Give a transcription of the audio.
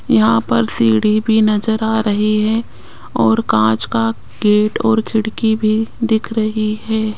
यहाँ पर सीढ़ी भी नजर आ रही है और कांच का गेट और खिड़की भी दिख रही हैं।